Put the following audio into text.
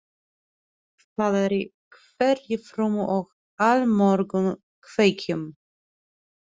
Það er í hverri frumu og allmörgum kveikjum.